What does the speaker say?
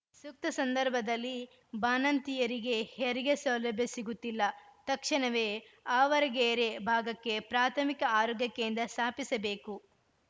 ಸೂಕ್ತ ಸಂದರ್ಭದಲ್ಲಿ ಬಾಣಂತಿಯರಿಗೆ ಹೆರಿಗೆ ಸೌಲಭ್ಯ ಸಿಗುತ್ತಿಲ್ಲ ತಕ್ಷಣವೇ ಆವರಗೆರೆ ಭಾಗಕ್ಕೆ ಪ್ರಾಥಮಿಕ ಆರೋಗ್ಯ ಕೇಂದ್ರ ಸ್ಥಾಪಿಸಬೇಕು